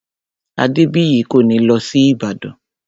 Adébìyí kò ní lọ sí Ìbàdàn